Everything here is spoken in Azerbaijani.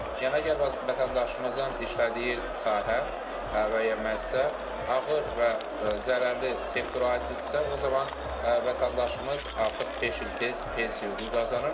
Yəni əgər vətəndaşımızın işlədiyi sahə və ya müəssisə ağır və zərərli sektora aiddirsə, o zaman vətəndaşımız artıq beş il tez pensiya hüququ qazanır.